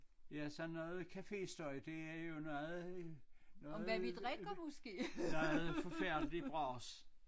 Ja sådan noget cafestøj det er jo noget noget noget forfærdeligt bras